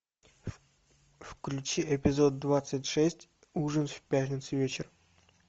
включи эпизод двадцать шесть ужин в пятницу вечером